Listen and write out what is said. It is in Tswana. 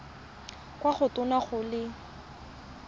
kwa go tona go le